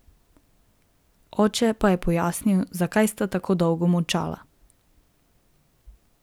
Oče pa je pojasnil, zakaj sta tako dolgo molčala.